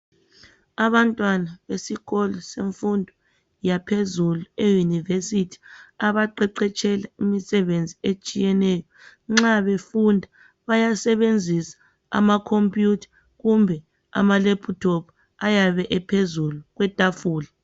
Abantwana besikolo semfundo yaphezulu eYunivesi abaqeqetshela imisebenzi etshiyeneyo nxa befunda bayasebenzisa amakhompiyutha kumbe ama"laptop" ayabe ephezulu kwetafula.